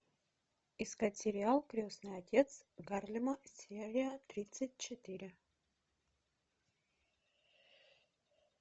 искать сериал крестный отец гарлема серия тридцать четыре